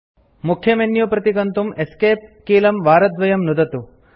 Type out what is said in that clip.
मुख्य मेन्यू प्रति गन्तुं एस्केप कीलं वारद्वयं नुदतु